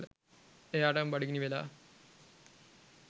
එයාටම බඩගිනි වෙලා